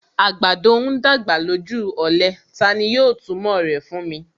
Àgbàdo ń dàgbà lójú ọ̀lẹ; Tani yóò túmọ̀ rẹ̀ fún mi.